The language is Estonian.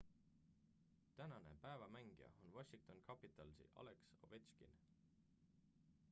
tänane päeva mängija on washington capitalsi alex ovechkin